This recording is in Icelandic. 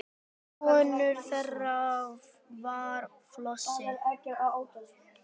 Sonur þeirra var Flosi.